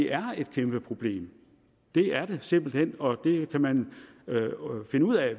er et kæmpeproblem det er det simpelt hen og det kan man finde ud af